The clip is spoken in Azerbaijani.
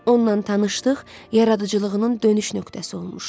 Onla tanışlıq yaradıcılığının dönüş nöqtəsi olmuşdu.